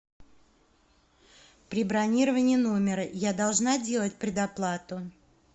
при бронировании номера я должна делать предоплату